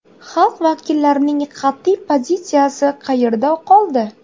Xalq vakillarining qat’iy pozitsiyasi qayerda qoldi?